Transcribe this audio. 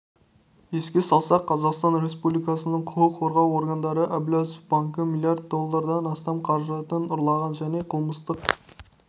еске салсақ қазақстан республикасының құқық қорғау органдары әблязов банкі млрд долларынан астам қаражатын ұрлаған және қылмыстық